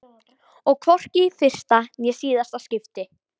Og hvorki í fyrsta né síðasta skipti.